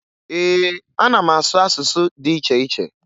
Ee, ana m asụ asụsụ dị iche iche